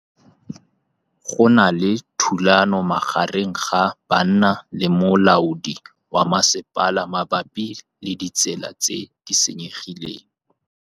Go na le thulanô magareng ga banna le molaodi wa masepala mabapi le ditsela tse di senyegileng.